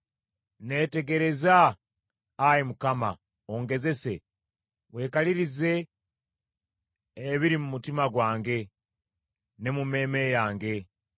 Neetegereza, Ayi Mukama , ongezese; weekalirize ebiri mu mutima gwange ne mu mmeeme yange.